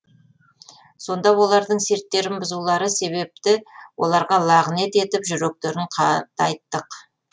сонда олардың серттерін бұзулары себепті оларға лағынет етіп жүректерін қатайттық